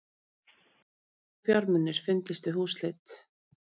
Fíkniefni og fjármunir fundust við húsleit